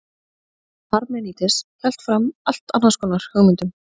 parmenídes hélt fram allt annars konar hugmyndum